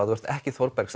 þú ert ekki